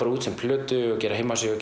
út sem plötu og gera heimasíðu